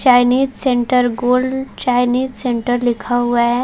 Chinese centre गोल Chinese centre लिखा हुआ है।